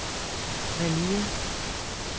Malia